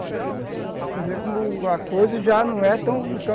Você vê como a coisa já não é tão tão tão